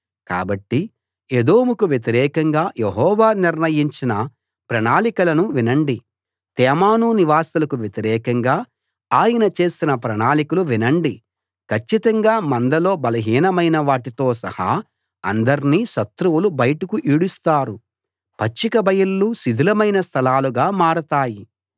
కాబట్టి ఏదోముకు వ్యతిరేకంగా యెహోవా నిర్ణయించిన ప్రణాళికలను వినండి తేమాను నివాసులకు వ్యతిరేకంగా ఆయన చేసిన ప్రణాళికలు వినండి కచ్చితంగా మందలో బలహీనమైన వాటితో సహా అందర్నీ శత్రువులు బయటకు ఈడుస్తారు పచ్చిక బయళ్ళు శిథిలమైన స్థలాలుగా మారతాయి